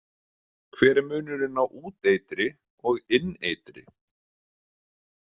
Hver er munurinn á úteitri og inneitri?